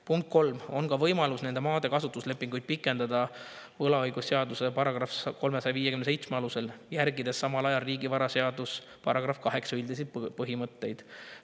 Kolmas punkt: "On ka võimalus nende maade kasutuslepinguid pikendada VÕS § 357 alusel, järgides samal ajal RVS § 8 üldisi põhimõtteid.